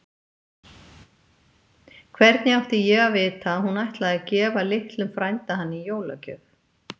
Hvernig átti ég að vita að hún ætlaði að gefa litlum frænda hann í jólagjöf?